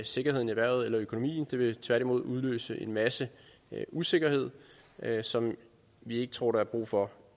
sikkerheden eller økonomien i vil tværtimod udløse en masse usikkerhed som vi ikke tror der er brug for